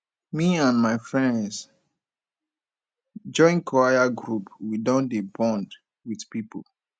me and my friends join choir group we don dey bond wit pipo